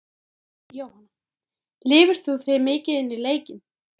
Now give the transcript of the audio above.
Jóhanna: Lifir þú þig mikið inn í leikina?